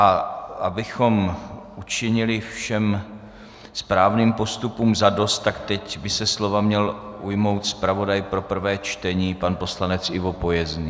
A abychom učinili všem správným postupům zadost, tak teď by se slova měl ujmout zpravodaj pro prvé čtení pan poslanec Ivo Pojezný.